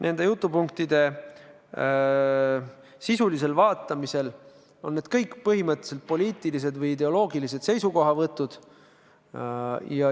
Nende jutupunktide sisu vaadates näeme, et need kõik on põhimõtteliselt poliitilised või ideoloogilised seisukohavõtud.